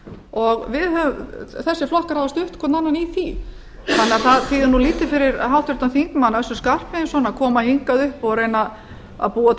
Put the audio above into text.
og þessir flokkar hafa stutt hvorn annan í því þannig að það þýðir nú lítið fyrir háttvirtan þingmann össur skarphéðinsson að koma hingað upp og reyna að búa til